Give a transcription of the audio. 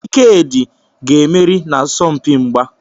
Ikedi ga-emeri n'asọmpi mgba.